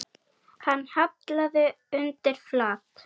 Hann hallaði undir flatt.